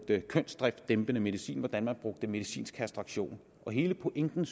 kønsdriftdæmpende medicin og hvordan de bruger medicinsk kastration hele pointen